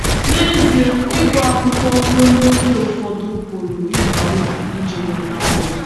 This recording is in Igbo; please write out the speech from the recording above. N’ezie, ịgụ akwụkwọ ruo n’ókè ụfọdụ pụrụ ịba uru iji nweta ọrụ.